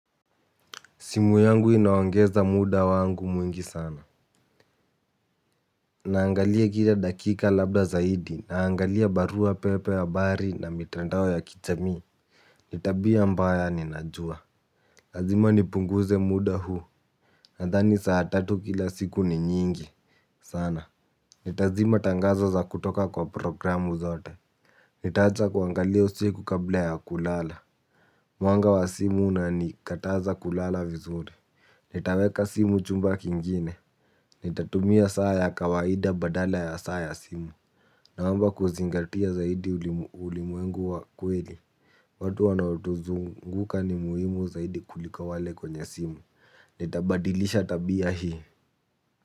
Simu yangu inaongeza muda wangu mwingi sana. Naangalia kila dakika labda zaidi naangalia barua pepe habari na mitandao ya kijamii. Nitabia mbaya ni najua. Lazima nipunguze muda huu. Nadhani saa tatu kila siku ni nyingi. Sana. Nitazima tangazo za kutoka kwa programu zote. Nitaacha kuangalia usiku kabla ya kulala. Mwanga wa simu una ni kataza kulala vizuri. Nitaweka simu chumba kingine. Nitatumia saa ya kawaida badala ya saa ya simu. Na mambo ya kuzingatia zaidi ulimwengu wa kweli. Watu wanaotuzunguka ni muhimu zaidi kuliko wale kwenye simu. Nitabadilisha tabia hii.